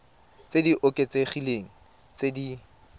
tse di oketsegileng tse di